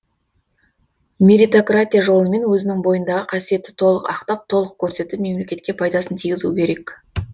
мерритократия жолымен өзінің бойындағы қасиетті толық ақтап толық көрсетіп мемлекетке пайдасын тигізу керек